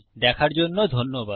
দেখার জন্য ধন্যবাদ